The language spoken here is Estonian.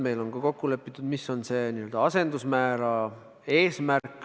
Meil on ka kokku lepitud, milline on eesmärgiks seatud n-ö asendusmäär.